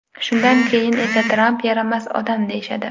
Shundan keyin esa Tramp yaramas odam deyishadi.